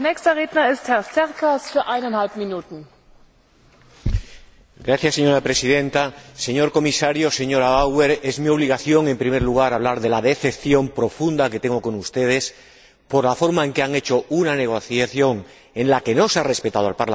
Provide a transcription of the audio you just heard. Señora Presidenta, señor Comisario, señora Bauer, es mi obligación, en primer lugar, hablar de la decepción profunda que tengo con ustedes, por la forma en que han llevado a cabo una negociación en la que no se ha respetado al Parlamento y por la forma en que presentan este debate hoy aquí, faltando gravemente a la verdad.